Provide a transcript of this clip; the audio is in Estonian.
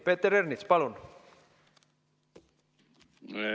Peeter Ernits, palun!